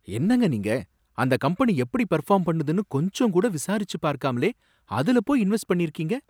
என்னங்க நீங்க! அந்த கம்பெனி எப்படி பெர்ஃபார்ம் பண்ணுதுனு கொஞ்சம் கூட விசாரிச்சு பார்க்காமலே அதுல போய் இன்வெஸ்ட் பண்ணிருக்கீங்க.